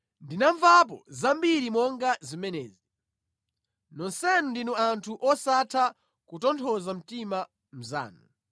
“Ndinamvapo zambiri monga zimenezi; nonsenu ndinu anthu osatha kutonthoza mtima mnzanu.